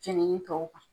Jenini tɔw kan